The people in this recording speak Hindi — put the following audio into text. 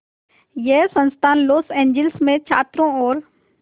यह संस्थान लॉस एंजिल्स में छात्रों और